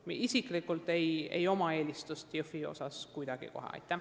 Minul isiklikult ei ole Jõhvi koha pealt mingit eelistust.